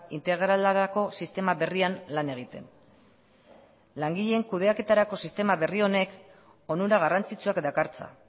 integralerako sistema berrian lan egiten langileen kudeaketarako sistema berri honek onura garrantzitsuak dakartza